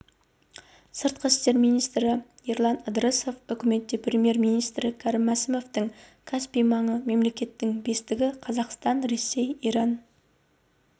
сыртқы істер министрі ерлан ыдырысов үкіметте премьер-министрі кәрім мәсімовтің каспий маңы мемлекеттерінің бестігі қазақстан ресей иран